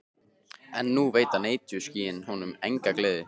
En nú veita netjuskýin honum enga gleði.